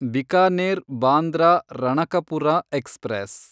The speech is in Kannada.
ಬಿಕಾನೇರ್ ಬಾಂದ್ರಾ ರಣಕಪುರ ಎಕ್ಸ್‌ಪ್ರೆಸ್